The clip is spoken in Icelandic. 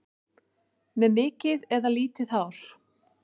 Með mikið eða lítið hár?